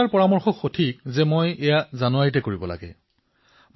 আৰু শ্বেতাৰ প্ৰস্তাৱ ঠিক যে মই ইয়াক জানুৱাৰীতেই কৰিব লাগে